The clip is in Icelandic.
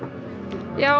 já